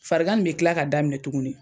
Farigan nin bɛ tila ka daminɛ tuguni.